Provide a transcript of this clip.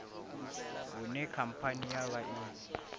hune khamphani ya vha i